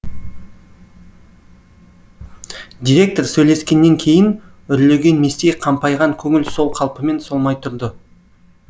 директор сөйлескеннен кейін үрлеген местей қампайған көңіл сол қалпымен солмай тұрды